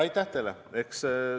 Aitäh teile!